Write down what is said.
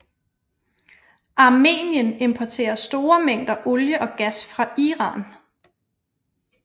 Armenien importerer store mængder olie og gas fra Iran